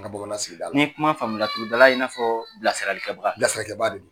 An ka bamaana sigida la n'i ka kuma faamuya laturudala b'i n'a fƆ bilasirakɛbaa bilasirakɛbaa de don.